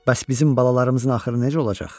Bəs bizim balalarımızın axırı necə olacaq?